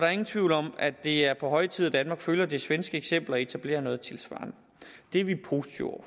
er ingen tvivl om at det er på høje tid at danmark følger det svenske eksempel og etablerer noget tilsvarende det er vi positive